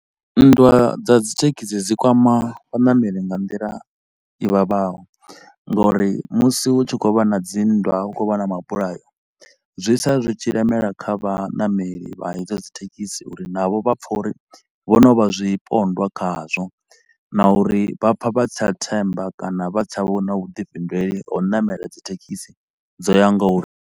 Nndwa dza dzithekhisi dzedzi dzi kwama vhanameli nga nḓila i vhavhaho ngauri musi hu tshi khou vha na dzinndwa hu khou vha na mabulayo, zwi sala zwi tshi lemela kha vhaṋameli vha hedzo dzithekhisi uri navho vha pfa uri vho no vha zwipondwa khazwo na uri vha pfa vha si tsha themba kana vha si tsha vhona vhuḓifhinduleli ha u namela dzithekhisi dzo yaho nga uri.